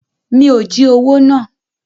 Mi ò jí owó náà.